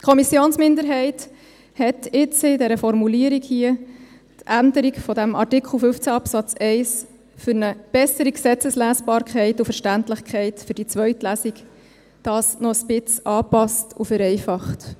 Die Kommissionsminderheit hat jetzt in dieser Formulierung hier die Änderung von Artikel 15 Absatz 1 für eine bessere Gesetzeslesbarkeit und verständlichkeit für die zweite Lesung noch ein wenig angepasst und vereinfacht.